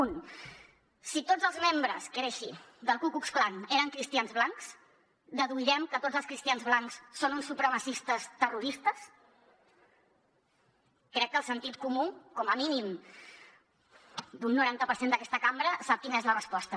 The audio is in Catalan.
un si tots els membres que era així del ku klux klan eren cristians blancs deduirem que tots els cristians blancs són uns supremacistes terroristes crec que el sentit comú com a mínim d’un noranta per cent d’aquesta cambra sap quina és la resposta